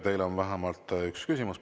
Teile on vähemalt üks küsimus.